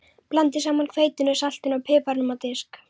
Blandið saman hveitinu, saltinu og piparnum á disk.